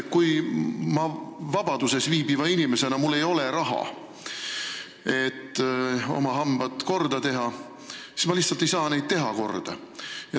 Kui mul vabaduses viibiva inimesena ei ole raha, et oma hambad korda teha, siis ma lihtsalt ei saa neid korda teha.